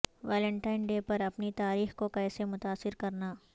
Valentine day پر اپنی تاریخ کو کیسے متاثر کرنا